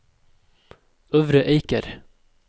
Øvre Eiker